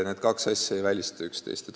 Need kaks asja ei välista üksteist.